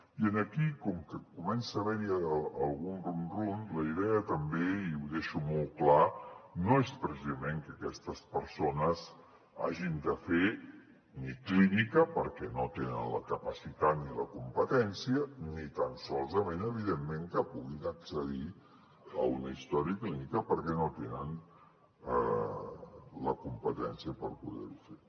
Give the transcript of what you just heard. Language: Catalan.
i aquí com que comença a haver hi algun rum rum la idea també i ho deixo molt clar no és precisament que aquestes persones hagin de fer clínica perquè no en tenen la capacitat ni la competència ni tan sols evidentment que puguin accedir a una història clínica perquè no tenen la competència per poder ho fer